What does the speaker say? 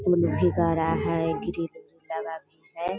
उ लड़की कह रहा है ग्रिल लगा भी है।